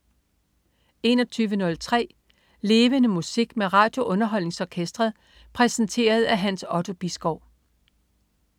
21.03 Levende Musik. Med RadioUnderholdningsOrkestret. Præsenteret af Hans Otto Bisgaard